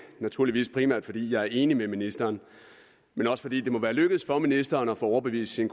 naturligvis primært fordi jeg er enig med ministeren men også fordi det må være lykkedes for ministeren at få overbevist sin